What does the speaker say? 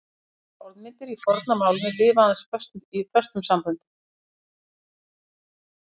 Sumar orðmyndir í forna málinu lifa aðeins í föstum samböndum.